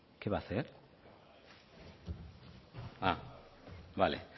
qué va a hacer ah vale